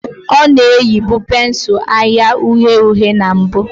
Ọ na-eyibu pensụl anya uhie uhie na mbụ